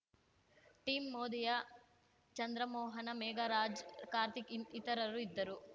team ಮೋದಿಯ ಚಂದ್ರಮೋಹನ ಮೇಘರಾಜ್ ಕಾರ್ತಿಕ್‌ ಇತರರು ಇದ್ದರು